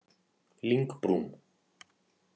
Lyngbrún